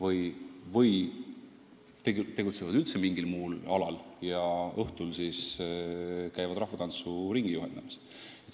Osa inimesi tegutseb üldse mingil muul alal ja õhtul käib rahvatantsuringi juhendamas.